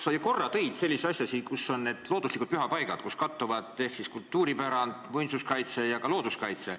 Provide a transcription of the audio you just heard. Sa korra tõid välja sellise asja nagu need looduslikud pühapaigad, kus kattuvad kultuuripärand, muinsuskaitse ja ka looduskaitse.